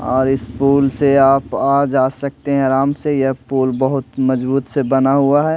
और इस पुल से आप आ जा सकते हैं आराम से यह पुल बहुत मजबूत से बना हुआ है।